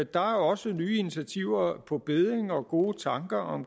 der er også nye initiativer på bedding og gode tanker om